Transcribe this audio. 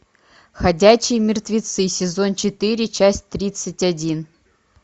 ходячие мертвецы сезон четыре часть тридцать один